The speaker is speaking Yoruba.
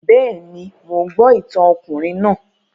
Bẹ́ẹ̀ni, mò ń gbọ́ ìtàn ọkùnrin náà